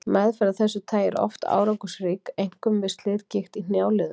Meðferð af þessu tagi er oft árangursrík, einkum við slitgigt í hnjáliðum.